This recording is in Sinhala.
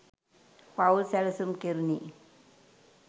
පවුල් සැලසුම් කෙරුණේ.